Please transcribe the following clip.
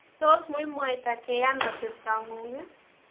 tos muimwaita keyan atebto ng'ung'?